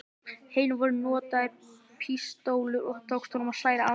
hinu voru notaðar pístólur og þá tókst honum að særa andstæðinginn.